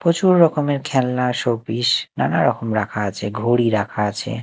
পচুর রকমের খেলনা শোপিস নানা রকম রাখা আছে ঘড়ি রাখা আছে।